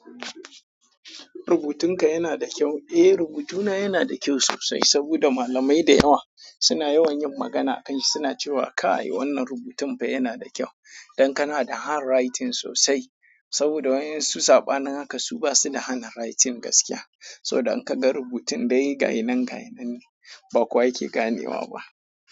Rubutunka yana da kyau. Eh, rubutuna yana da kyau sosai saboda malamai da yawa suna yawan yin magana a kan shi. Suna cewa kai wannan rubutun fa yana da kyau. Dan kana da hand writing sosai saboda wayen su saɓanin haka su ba su da hand writing gaskiya. So don in ka ga rubutun dai gainan gainan ne ba kowa yake ganewa ba.